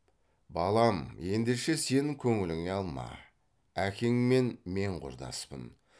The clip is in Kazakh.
балам ендеше сен көңіліңе алма әкеңмен мен құрдаспын